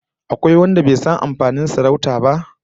Akwai wanda bai san amfanin sarauta ba?